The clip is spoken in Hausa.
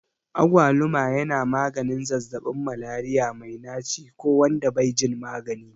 Agwaluma yana maganin zazzabin Malaria mai naci ko wanda bai jin magani.